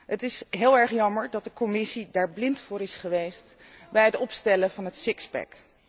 Het is heel erg jammer dat de Commissie daar blind voor is geweest bij het opstellen van het sixpack.